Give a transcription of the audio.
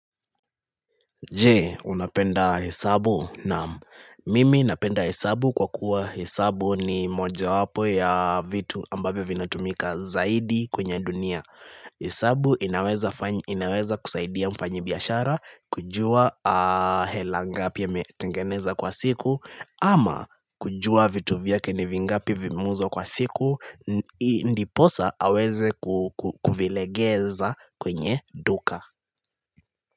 Je, unapenda hesabu? Naam mimi napenda hesabu kwa kuwa hesabu ni mojawapo ya vitu ambavyo vinatumika zaidi kwenye dunia. Hesabu inaweza kusaidia mfanyi biashara, kujua hela ngapi yametengeneza kwa siku, ama kujua vitu vyake ni vingapi vimeuzwa kwa siku, ndiposa aweze kuvilegeza kwenye duka.